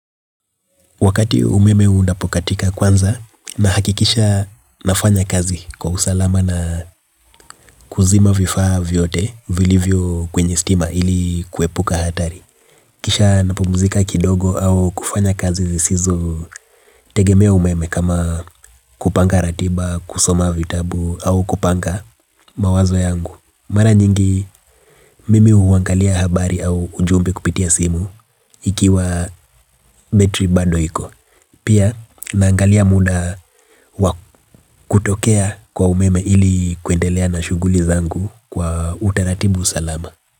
Wakati umeme unapokatika, kwanza nahakikisha nafanya kazi kwa usalama na kuzima vifaa vyote vilivyo kwenye stima ili kuepuka hatari. Kisha napumzika kidogo au kufanya kazi zisizotegemea umeme kama kupanga ratiba, kusoma vitabu au kupanga mawazo yangu. Mara nyingi mimi huangalia habari au ujumbe kupitia simu ikiwa betri bado iko. Pia naangalia muda kutokea kwa umeme ili kuendelea na shughuli zangu kwa utaratibu salama.